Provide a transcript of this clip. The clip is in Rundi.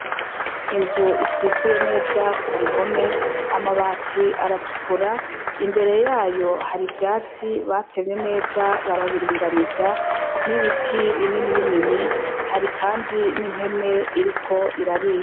inzu isikuye neza ku bihome; amabati aratukura. Imbere yayo hari ivyatsi batemye neza, barabiringaniza, n'ibiti binini binini. Hari kandi n'impene iriko irarisha